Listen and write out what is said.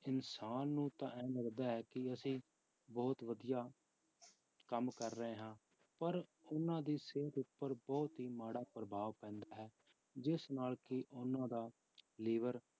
ਇਨਸਾਨ ਨੂੰ ਤਾਂ ਇਹ ਲੱਗਦਾ ਹੈ ਕਿ ਅਸੀਂ ਬਹੁਤ ਵਧੀਆ ਕੰਮ ਕਰ ਰਹੇ ਹਾਂ ਪਰ ਉਹਨਾਂ ਦੀ ਸਿਹਤ ਉੱਪਰ ਬਹੁਤ ਹੀ ਮਾੜਾ ਪ੍ਰਭਾਵ ਪੈਂਦਾ ਹੈ ਜਿਸ ਨਾਲ ਕਿ ਉਹਨਾਂ ਦਾ ਲਿਵਰ